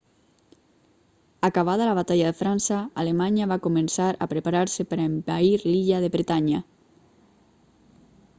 acabada la batalla de frança alemanya va començar a preparar-se per a envair l'illa de bretanya